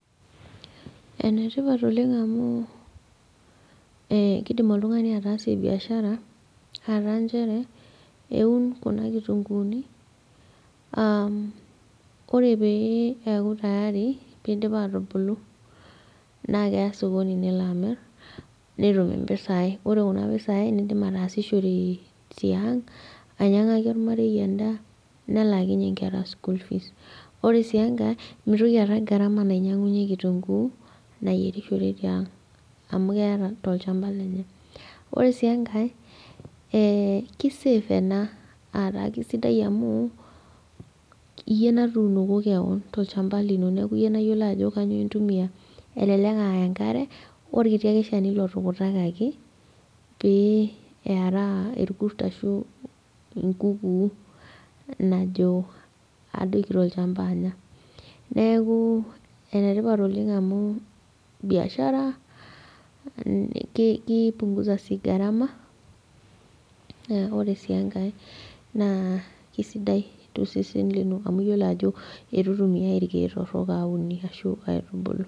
ene tipat oleng amu, kidim oltungani atasie biashara, aa taa nchere eun kuna kitunkuuni, ore pee eeku tayari pee eidip aatubulu naa keya sokoni nelo amir. netum mpisai, ore kuna pisai nidim ataasishore tiang' ainyiang'aki olmarei edaa, nelaakinye nkera school fees ore sii enkae mitoki aata gharama nainyiang'unye kitunkuu niayierishore tiang' amu keeta tolchampa lenye. ore sii enkae ki save ena, aataa kisidai amu, iyie natuunoko keon tolchampa lino. neeku iyie nayiolo ajo kainyioo intumia. elelk aa enkare orkiti ake shani lotukutakaki, pee eraa irkurt ashu, enkukuu najo adoiki tolcamapa anya. neeku enetipat oleng amu biashara, kipunguza sii gharama, ore sii enkae naa kisidai tosesen lino amu iyiolo ajo kisidai eitu itumiae irkeek torok aunie.